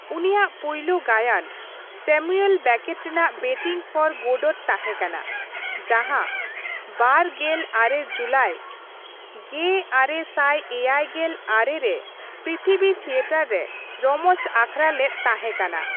ᱩᱱᱤᱭᱟᱜ ᱯᱩᱭᱞᱩ ᱜᱟᱭᱟᱱ ᱥᱮᱢᱩᱭᱮᱞ ᱵᱮᱠᱮᱴ ᱨᱮᱱᱟᱜ ᱵᱮᱴᱤᱜᱽ ᱯᱷᱚᱨ ᱜᱳᱰᱳᱴ ᱛᱟᱦᱮᱸ ᱠᱟᱱᱟ, ᱡᱟᱦᱟᱸ ᱒᱙ ᱡᱩᱞᱟᱭ ᱑᱙᱗᱙ ᱨᱮ ᱯᱨᱤᱛᱷᱤᱵᱤ ᱛᱷᱤᱭᱚᱴᱚᱨ ᱨᱮ ᱨᱚᱢᱚᱡ ᱟᱠᱷᱲᱟ ᱞᱮᱫ ᱛᱮᱦᱮᱸ ᱠᱟᱱᱟ ᱾